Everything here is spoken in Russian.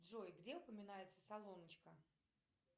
джой где упоминается салоночка